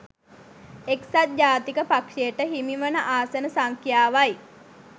එක්සත් ජාතික පක්ෂයට හිමිවන ආසන සංඛ්‍යාවයි